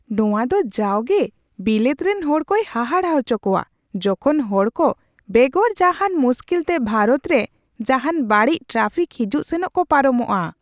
ᱱᱚᱣᱟᱫᱚ ᱡᱟᱣᱜᱮ ᱵᱤᱞᱟᱹᱛ ᱨᱮᱱ ᱦᱚᱲᱠᱚᱭ ᱦᱟᱦᱟᱲᱟ ᱟᱪᱚ ᱠᱚᱣᱟ ᱡᱚᱠᱷᱚᱱ ᱦᱚᱲᱠᱚ ᱵᱮᱜᱚᱨ ᱡᱟᱦᱟᱱ ᱢᱩᱥᱠᱤᱞ ᱛᱮ ᱵᱷᱟᱨᱚᱛ ᱨᱮ ᱡᱟᱦᱟᱱ ᱵᱟᱹᱲᱤᱡᱽ ᱴᱨᱟᱯᱷᱤᱠ ᱦᱤᱡᱩᱜ ᱥᱮᱱᱚᱜ ᱠᱚ ᱯᱟᱨᱚᱢᱚᱜᱼᱟ ᱾